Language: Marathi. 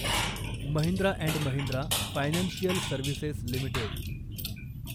Mahindra and Mahindra financial services limited